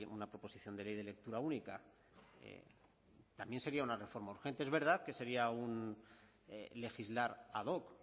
una proposición de ley de lectura única también sería una reforma urgente es verdad que sería un legislar ad hoc